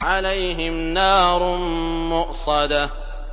عَلَيْهِمْ نَارٌ مُّؤْصَدَةٌ